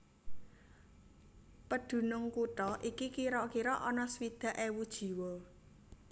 Pedunung kutha iki kira kira ana swidak ewu jiwa